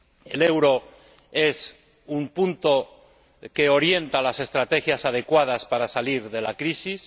El euro es un punto que orienta las estrategias adecuadas para salir de la crisis.